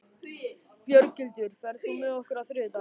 Björghildur, ferð þú með okkur á þriðjudaginn?